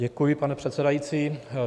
Děkuji, pane předsedající.